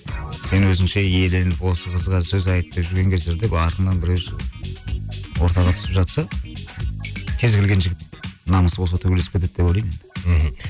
сен өзіңше иеленіп осы қызға сөз айтып артыңнан біреу шығып ортаға түсіп жатса кез келген жігіт намысы болса төбелесіп кетеді деп ойлаймын мхм